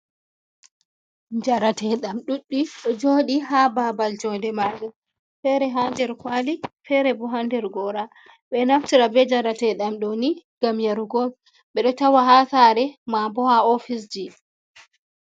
Njareteeɗam ɗuɗɗi, ɗo jooɗi ha babal jonde majam. Fere ha nder kwaali fere bo ha nder Gora ɓe ɗo naftira ɓe njarateɗam ɗo ni ngam yarugo on. Ɓe ɗo tawa ha sare, ma bo ha ofise ji.